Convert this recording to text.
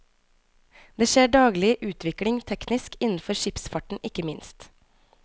Det skjer daglig utvikling teknisk, innenfor skipsfarten ikke minst.